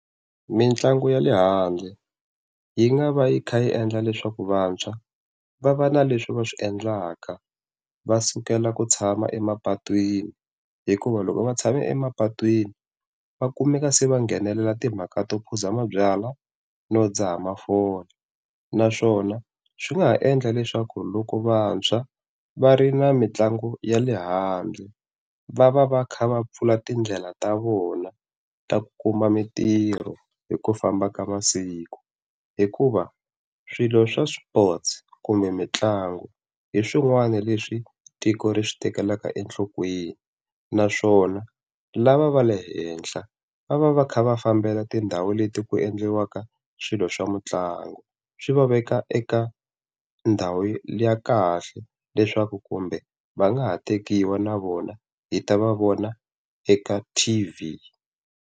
Mintlangu ya le handle yi nga va yi kha yi endla leswaku vantshwa va va na leswi va swi endlaka va sukela ku tshama emapatwini, hikuva loko va tshame emapatwini va kumeka se va nghenelela timhaka to phuza mabyalwa no dzaha mafole. Naswona swi nga ha endla leswaku loko vantshwa va ri na mitlangu ya le handle va va va kha va pfula tindlela ta vona ta ku kuma mintirho hi ku famba ka masiku. Hikuva swilo swa swipotso kumbe mitlangu hi swin'wana leswi tiko ri swi tekela enhlokweni, naswona lava va le henhla va va va kha va fambela tindhawu leti ku endliwaka swilo swa mitlangu. Swi va veka eka ndhawu ya kahle leswaku kumbe va nga ha tekiwa na vona hi ta va vona eka T_V.